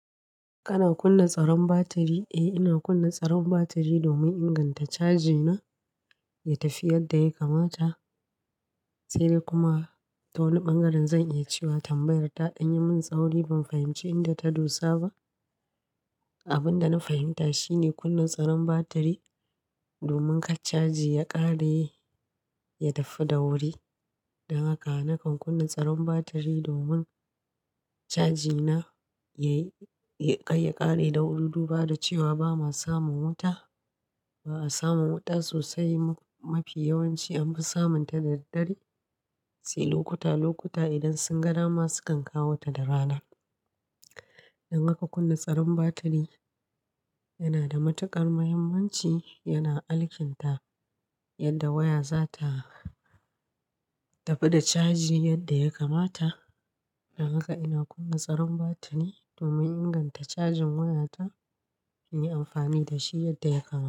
Kana kunna tsaron batiri? Eh, ina kunna tsaron batiri domin inganta caji na ya tafi yadda ya kamata. Sai dai kuma ta wani ɓangaren zan iya cewa tambayar ta ɗan yi min tsauri. Ban fahimci inda ta dosa ba. Abin da na fahimta shi ne kunna tsaron batiri domin ka caji ya ƙare, ya daffe da wuri. Dan haka nakan kunna tsaron batiri domin caji na yai, kar ya ƙare da wuri duk. Bada cewa ba ma samun wuta, ba a samun wuta sosai. Mafi yawanci an fi samun ta da daddare, sai lokuta-lokuta idan sun ga dama sukan kawo ta da rana. Dan haka kunna tsaron batiri yana da matuƙar muhimmanci, yana alkinta yadda waya za ta tafi da caji yadda ya kamata. Dan haka ina kunna tsaron batiri domin inganta cajin waya ta na yi amfani da shi yadda ya kamata.